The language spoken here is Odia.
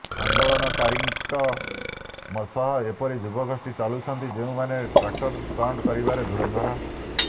ଆନ୍ଦୋଳନକାରୀଙ୍କ ସହ ଏପରି ଯୁବଗୋଷ୍ଠୀ ଚାଲୁଛନ୍ତି ଯେଉଁମାନେ ଟ୍ରାକ୍ଟର ଷ୍ଟଣ୍ଟ କରିବାରେ ଧୁରନ୍ଧର